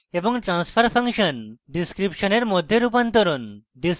state space এবং transfer function ডিসক্রিপশনের মধ্যে রূপান্তরণ